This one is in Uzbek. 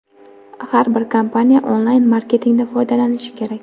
Har bir kompaniya onlayn-marketingdan foydalanishi kerak.